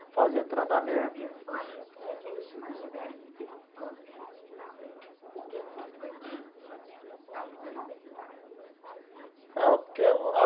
Fazer tratamento. Você vivia fora...por que que eles te mantiveram esse tempo todo dentro do hospital? Por que que você ficou esse tempo todo dentro do hospital se você não precisava dele? Ah porque.